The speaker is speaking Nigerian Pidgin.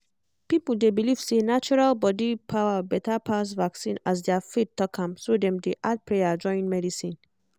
people dey believe say natural body power better pass vaccine as their faith talk am so dem dey add prayer join medicine